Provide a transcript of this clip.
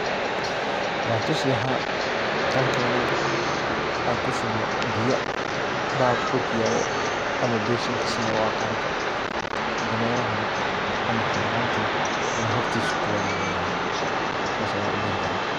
Waa tusi lahaa intan keno oo kushubo biyo .Bahalka dhulka yalo ama beshinka saa u a qanto dameraha ama hayawanka ayaan hortisa ku warabin lahaa sas ayan u bari lahaa.